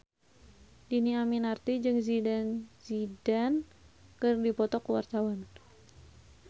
Dhini Aminarti jeung Zidane Zidane keur dipoto ku wartawan